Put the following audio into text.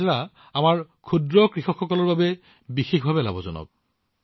বাজৰা আমাৰ ক্ষুদ্ৰ কৃষকসকলৰ বাবে বিশেষভাৱে লাভজনক